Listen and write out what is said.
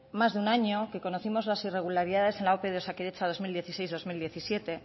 más de un año que conocimos las irregularidades en la ope de osakidetza dos mil dieciséis dos mil diecisiete